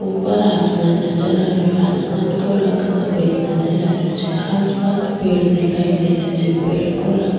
ऊपर आसमान नजर आ रेयो आसमान को रंग सफेद नजर आ रेयो छे आस पास पेड़ दिखाई दे रेहा छे पेड़ को रंग--